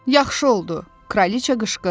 Yaxşı oldu, kraliça qışqırdı.